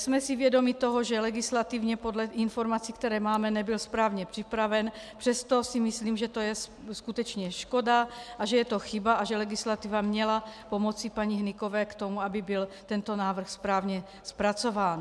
Jsme si vědomi toho, že legislativně podle informací, které máme, nebyl správně připraven, přesto si myslím, že to je skutečně škoda a že je to chyba a že legislativa měla pomoci paní Hnykové k tomu, aby byl tento návrh správně zpracován.